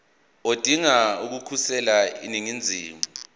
odinga ukukhosela eningizimu